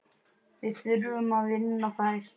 Við þurfum að vinna þær.